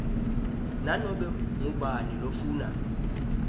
nanobe ngubani lofuna